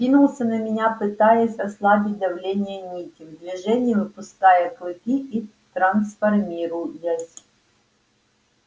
кинулся на меня пытаясь ослабить давление нити в движении выпуская клыки и трансформируясь